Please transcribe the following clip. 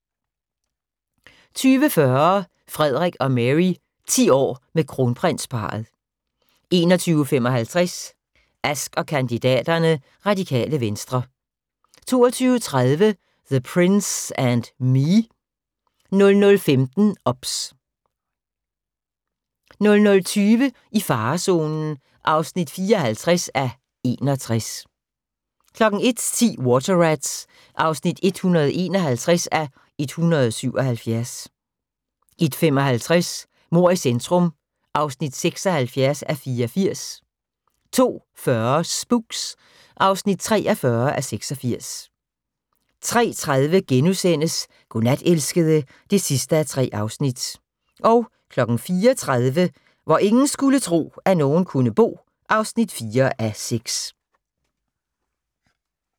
20:40: Frederik og Mary: 10 år med Kronprinsparret 21:55: Ask & kandidaterne: Radikale Venstre 22:30: The Prince and Me 00:15: OBS 00:20: I farezonen (54:61) 01:10: Water Rats (151:177) 01:55: Mord i centrum (76:84) 02:40: Spooks (43:86) 03:30: Godnat, elskede (3:3)* 04:30: Hvor ingen skulle tro, at nogen kunne bo (4:6)